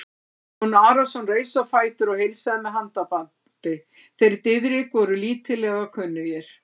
Jón Arason reis á fætur og heilsaði með handabandi, þeir Diðrik voru lítillega kunnugir.